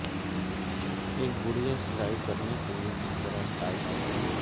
ایک گڑیا سلائی کرنے کے لئے کس طرح ٹائٹس کے